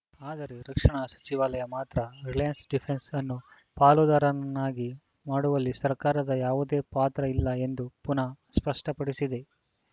ಆದರೆ ರಕ್ಷಣಾ ಸಚಿವಾಲಯ ಮಾತ್ರ ರಿಲೇಯನ್ಸ ಡಿಫೆನ್ಸ್ ಅನ್ನು ಪಾಲುದ್ದರನಾಗಿ ಮಾಡುವಲ್ಲಿ ಸರ್ಕಾರದ ಯಾವುದೇ ಪಾತ್ರ ಇಲ್ಲ ಎಂದು ಪುನಃ ಸ್ಪಷ್ಟ ಪಡಿಸಿದೆ